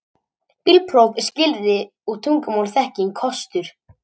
Bílpróf er skilyrði og tungumálaþekking kostur